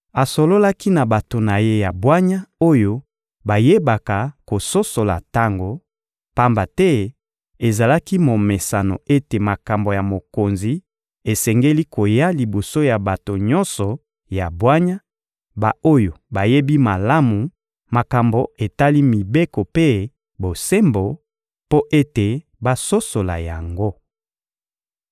Asololaki na bato na ye ya bwanya oyo bayebaka kososola tango, pamba te ezalaki momesano ete makambo ya mokonzi esengeli koya liboso ya bato nyonso ya bwanya, ba-oyo bayebi malamu makambo etali mibeko mpe bosembo, mpo ete basosola yango.